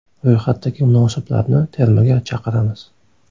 Ro‘yxatdagi munosiblarni termaga chaqiramiz.